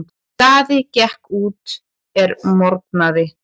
Daði gekk út er morgnaði.